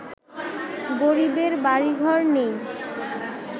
গরিবের বাড়ি ঘর নেই